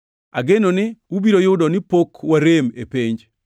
Ageno ni ubiro yudo ni pok warem e penj.